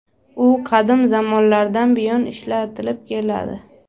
U qadim zamonlardan buyon ishlatilib keladi.